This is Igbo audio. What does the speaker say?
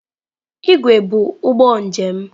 Igwe bụ ụgbọ njem.